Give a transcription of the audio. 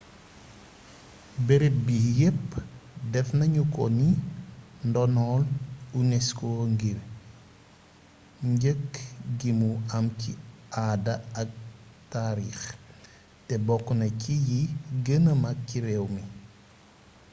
beereeb bi yeepp defnagnuko ni ndonol unesco ngir njeeg gimu am ci aada ak taarix té bokkna ci yi geenee mak ci réwmi